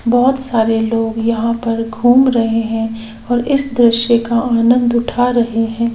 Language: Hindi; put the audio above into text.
बहुत सारे लोग यहाँ पर घूम रहे हैं और इस दृश्य का आनंद उठा रहे हैं|